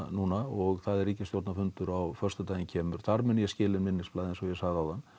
núna og það er ríkisstjórnarfundur á föstudaginn kemur þar mun ég skila inn minnisblaði eins og ég sagði áðan